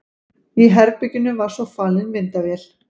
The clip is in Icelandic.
Í herberginu var svo falin myndavél.